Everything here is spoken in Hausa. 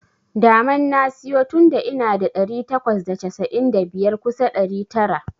Daman na siyo tunda ina da ɗari takwas da casa'in da biyar kusa ɗari tara.